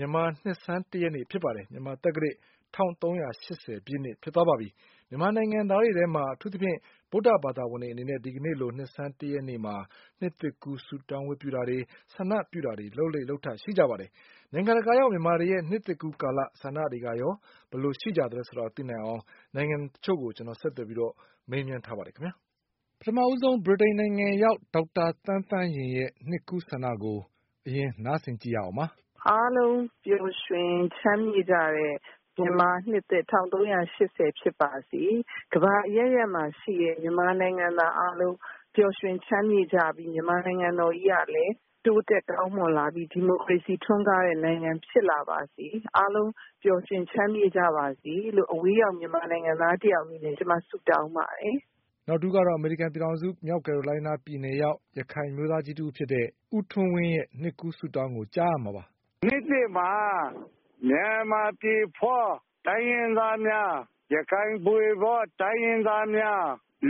မြန်မာ့ နှစ်ဆန်းတရက်နေ့ပါ။ မြန်မာသက္ကရာဇ် ၁၃၈၀ ပြည့်နှစ်ဖြစ်သွားပါပြီ။ မြန်မာနိုင်ငံသားတွေထဲမှာ အထူးသဖြင့် ဗုဒ္ဓဘာသာဝင်တွေ အနေနဲ့ ဒီကနေ့လို နှစ်ဆန်းတရက်နေ့မှာ နှစ်သစ်ကူး ဆုတောင်းမှုတွေ၊ ဆန္ဒပြုမှုတွေ လုပ်လေ့ လုပ်ထရှိကြပါတယ်။ နိုင်ငံတကာရောက် မြန်မာတွေရဲ့ နှစ်သစ်ကူးကာလ ဆန္ဒတွေကရော ဘယ်လိုရှိကြသလဲ ဆိုတာ သိနိုင်အောင် နိုင်ငံတချို့ကို ကိုကျော်အောင်လွင် ဆက်သွယ်ပြီး မေးမြန်းထားပါတယ်။ ပထမဆုံး ဗြိတိန်နိုင်ငံရောက် ဒေါက်တာသန်းသန်းရင်ရဲ့ နှစ်ကူးဆန္ဒကို အရင် နားဆင်ကြည့်ရအောင်ပါ။ “ အားလုံးပျော်ရွှင်ချမ်းမြေ့ကြတဲ့ မြန်မာနှစ်သစ် ၁၃၈၀ ဖြစ်ပါစေ။ ကမ္ဘာအရပ်ရပ်မှာ ရှိတဲ့ မြန်မာနိုင်ငံသား အားလုံး ပျော်ရွှင်ချမ်းမြေ့ကြပြီး မြန်မာနိုင်ငံတော်ကြီး ကလည်း တိုးတက်ကောင်းမွန်လာပြီး ဒီမိုကရေစီ ထွန်းကားတဲ့ နိုင်ငံ ဖြစ်လာပါစေ။ အားလုံး ပျော်ရွှင်ချမ်းမြေ့ကြပါစေလို့ အဝေးရောက် မြန်မာနိုင်ငံသား တယောက်အနေနဲ့ ကျမ ဆုတောင်းပါတယ်။” နောက်တဦးကတော့ အမေရိကန်ပြည်ထောင်စု မြောက်ကယ်ရိုလိုင်းနား ပြည်နယ်ရောက် ရခိုင်အမျိုးသားကြီး တဦးဖြစ်တဲ့ ဦးထွန်းဝင်းရဲ့ နှစ်သစ်ကူး ဆုတောင်းကို ကြားရမှာပါ။ “ နှစ်သစ်မှာ မြန်မာပြည်ဖွါး တိုင်းရင်းသားများ၊ ရခိုင်ပြည်ဖွါး တိုင်းရင်းသားများ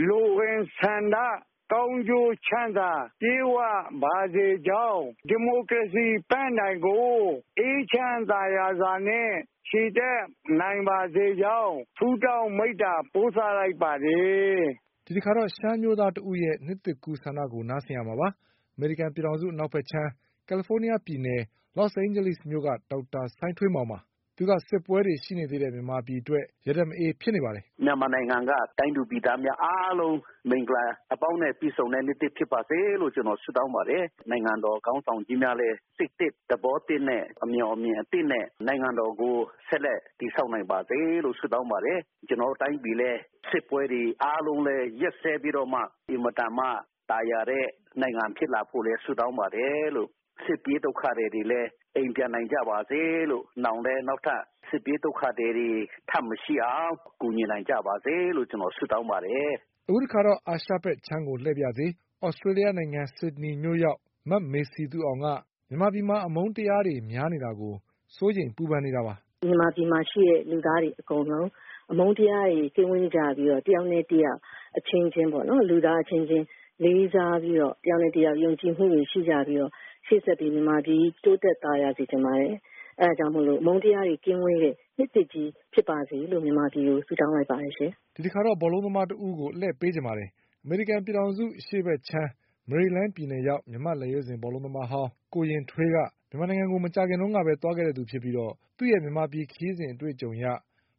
လိုအင်ဆန္ဒ၊ ကောင်းကျိုးချမ်းသာ ပြည့်ဝပါစေကြောင်း၊ ဒီမိုကရေစီပန်းတိုင်ကို အေးချမ်းသာယာစွာနဲ့ ချီတက်နိုင်ပါစေကြောင်း ဆုတောင်း မေတ္တာ ပို့သလိုက်ပါတယ်။” ဒီတခါတော့ ရှမ်းအမျိုးသားတဦးရဲ့ နှစ်သစ်ကူး ဆန္ဒကို နားဆင်ရမှာပါ။ အမေရိကန်ပြည်ထောင်စု အနောက်ဘက်ခြမ်း ကယ်လီဖိုးနီးယားပြည်နယ် လော့စ်အိန်ဂျလိစ်မြို့ က ဒေါက်တာ စိုင်းထွေးမောင်ပါ။ သူက စစ်ပွဲတွေ ရှိနေသေးတဲ့ မြန်မာပြည်အတွက် ရတတ်မအေး ဖြစ်နေပါတယ်။ “ မြန်မာနိုင်ငံက တိုင်းသူပြည်သားများ အားလုံး မင်္ဂလာ အပေါင်းနဲ့ ပြည့်စုံတဲ့ နှစ်သစ် ဖြစ်ပါစေလို့ ကျနော် ဆုတောင်းပါတယ်။ နိုင်ငံတော် ခေါင်းဆောင်ကြီးများလည်း စိတ်သစ် သဘောသစ်နဲ့ အမြော်အမြင်သစ်နဲ့ နိုင်ငံတော်ကို ဆက်လက် တည်ဆောက်နိုင်ပါစေလို့ ဆုတောင်းပါတယ်။ ကျနော်တို့ တိုင်းပြည်လည်း စစ်ပွဲတွေ အားလုံးလည်း ရပ်စဲပြီးတော့မှ အင်မတန်မှ သာယာတဲ့ နိုင်ငံ ဖြစ်လာဖို့လည်း ဆုတောင်းပါတယ်။ စစ်ပြေးဒုက္ခသည်တွေလည်း အိမ်ပြန်နိုင်ကြပါစေလို့၊ နောင်လည်း နောက်ထပ် စစ်ပြေးဒုက္ခသည်တွေ ထပ်မရှိအောင် ကူညီနိုင်ကြပါစေလို့ ကျနော် ဆုတောင်းပါတယ်။ ” အခုတခါတော့ အာရှဘက်ခြမ်းကို လှည့်ပါရစေ။ သြစတေးလျနိုင်ငံ ဆစ်ဒနီမြို့ ရောက် မမေစည်သူအောင်က မြန်မာ ပြည်မှာ အမုန်းတရားတွေ များနေတာကို စိုးရိမ်ပူပန်နေတာပါ။ “ မြန်မာပြည်မှာ ရှိတဲ့ လူသားတွေ အကုန်လုံး အမုန်းတရားတွေ ကင်းဝေးကြပြီးတော့ တယောက်နဲ့ တယောက် အချင်းချင်းပေါ့နော်၊ လူသားအချင်းချင်း လေးစားပြီးတော့ တယောက်နဲ့ တယောက် ယုံကြည်မှုတွေ ရှိကြပြီးတော့ ရှေ့ဆက်ပြီး မြန်မာပြည်ကြီး တိုးတက်သာယာစေချင်ပါတယ်။ အဲဒါကြောင့်မို့လို့ အမုန်းတရားတွေ ကင်းဝေးတဲ့ နှစ်သစ်ကြီး ဖြစ်ပါစေလို့ မြန်မာပြည်ကို ဆုတောင်းလိုက်ပါတယ်ရှင်။ ” ဒီတခါတော့ ဘောလုံးသမားတဦးကို အလှည့်ပေးချင်ပါတယ်။ အမေရိကန်ပြည်ထောင်စု အရှေ့ဘက်ခြမ်း မေရီလန်းပြည်နယ်ရောက် မြန်မာ့လက်ရွေးစင် ဘောလုံးသမားဟောင်း ကိုရင်ထွေးက မြန်မာနိုင်ငံကို မကြာခင်ကပဲ သွားခဲ့တဲ့သူဖြစ်ပြီး သူ့ရဲ့မြန်မာ့ခရီးစဉ်အတွေ့ အကြုံအရ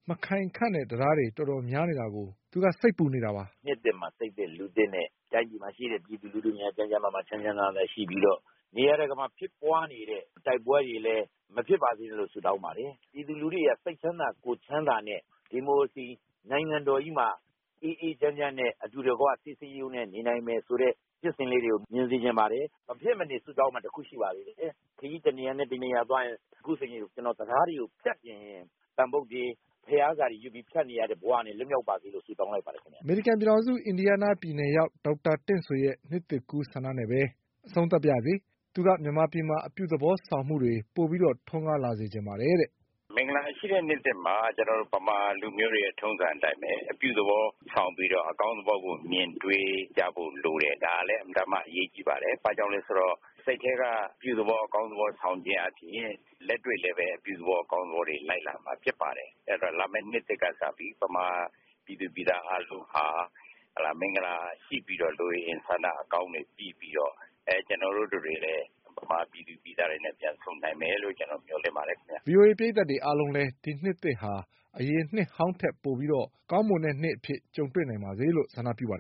မခိုင်ခန့်တဲ့ တံတားတွေ တော်တော်များများ ရှိနေတာကို သူက စိတ်ပူနေပါတယ်။ “ နှစ်သစ်မှာ စိတ်သစ်လူသစ်နဲ့ တိုင်းပြည်မှာ ရှိတဲ့ ပြည်သူလူထုများ ကျန်းကျန်းမာမာ ချမ်းချမ်းသာသာနဲ့ ရှိပြီးတော့ နေရာတကာမှာ ဖြစ်ပွားနေတဲ့ တိုက်ပွဲတွေလည်း မဖြစ်ပါစေနဲ့လို့ ဆုတောင်းပါတယ်။ ပြည်သူလူထုတွေလည်း စိတ်ချမ်းသာ ကိုယ်ချမ်းသာနဲ့ ဒီမိုကရေစီ နိုင်ငံတော်ကြီးမှာ အေးအေးချမ်းချမ်းနဲ့ အတူတကွ စည်းစည်းရုံးရုံးနဲ့ နေနိုင်မယ်ဆိုတဲ့ ဖြစ်စဉ်လေးတွေကို မြင်စေချင်ပါတယ်။ မဖြစ်မနေ ဆုတောင်းမှာ တခု ရှိပါသေးတယ်။ ခရီး တနေရာနဲ့ တနေရာသွားရင် အခုဆိုရင် ကျနော် တံတားတွေကို ဖြတ်ရင် သံဗုဒ္ဓေ ဘုရားစာတွေ ဖတ်ပြီး ဖြတ်နေရတဲ့ ဘဝတွေက လွတ်မြောက်ပါစေလို့ ဆုတောင်းလိုက်ပါတယ် ခင်ဗျ။ ” အမေရိကန်ပြည် ထောင်စု အင်ဒီယားနားပြည်နယ်ရောက် ဒေါက်တာတင့်ဆွေရဲ့ နှစ်သစ်ကူးဆန္ဒနဲ့ပဲ အဆုံးသတ်ပါရစေ။ သူက မြန်မာပြည်မှာ အပြုသဘောဆောင်မှုတွေ ပိုပြီး ထွန်းကားလာစေချင်ပါတယ်တဲ့။ “ မင်္ဂလာရှိတဲ့ နှစ်သစ်မှာ ကျနော်တို့ ဗမာ လူမျိုးတွေရဲ့ ထုံးစံ အတိုင်းဘဲ အပြုသဘော ဆောင်ပြီးတော့ အကောင်းသဘောကို မြင်တွေး ကြဖို့ လိုတယ်။ ဒါလည်း အင်မတန်မှ အရေးကြီးပါတယ်။ ဘာကြောင့်လည်း ဆိုတော့ စိတ်ထဲက အပြုသဘော အကောင်းသဘော ဆောင်ခြင်း အားဖြင့် လက်တွေ့လည်း အပြုသဘော အကောင်းသဘောတွေ လိုက်လာမှာ ဖြစ်ပါတယ်။ အဲတော့ လာမယ့် နှစ်သစ်က စပြီး ဗမာပြည်သူ ပြည်သား အားလုံးဟာ မင်္ဂလာရှိပြီးတော့ လိုအင်ဆန္ဒ အကောင်းတွေ ပြည့်ပြီးတော့ ကျနော်တို့ တတွေလည်း ဗမာပြည်သူ ပြည်သားတွေနဲ့ ပြန်ဆုံနိုင်မယ်လို့ မေ ျှာ်လင့်ပါတယ် ခင်ဗျ။ ” ဗွီအိုအေ ပရိသတ်အားလုံးလည်း ဒီနှစ်သစ်ဟာ အရင်နှစ်ဟောင်းထက် ပိုပြီး ကောင်းမွန်တဲ့ နှစ်အဖြစ် ကြုံတွေ့နိုင်ကြပါစေလို့ ဆန္ဒပြုပါတယ်